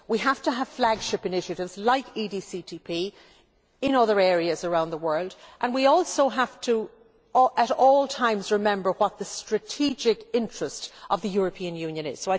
We have to have flagship initiatives like EDCTP in other areas around the world and we also have to remember at all times what the strategic interest of the European Union is.